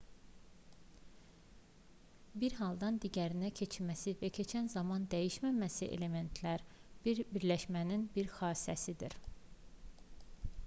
bir haldan digərinə keçməsi və keçən zaman dəyişməməsi elementlər və birləşmələrin bir xassəsidir